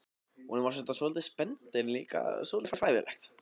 Honum fannst þetta svolítið spennandi en líka svolítið hræðilegt.